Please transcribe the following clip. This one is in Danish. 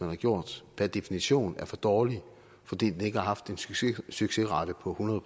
har gjort per definition er for dårlig fordi den ikke har haft en succesrate på hundrede